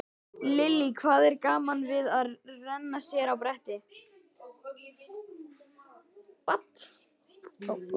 Lillý: Hvað er gaman við að renna sér á bretti?